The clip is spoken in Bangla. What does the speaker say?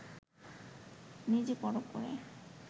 নিজে পরখ করে